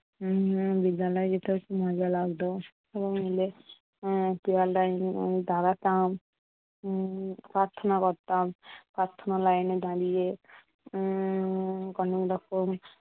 উম বিদ্যালয়ে যেতেও খুব মজা লাগতো। সবাই মিলে দাঁড়াতাম উম প্রার্থনা করতাম line লাইন এ দাঁড়িয়ে। উম অনেক রকম